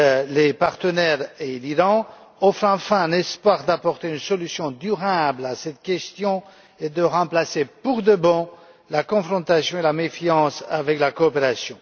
les partenaires et l'Iran offre enfin un espoir d'apporter une solution durable à cette question et de remplacer pour de bon la confrontation et la méfiance par la coopération.